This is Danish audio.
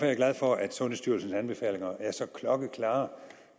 jeg glad for at sundhedsstyrelsens anbefalinger er så klokkeklare